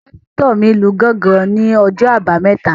Pásítọ̀ mi lu gángan ní ọjọ́ àbámẹ́ta